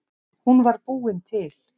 Hún var búin til.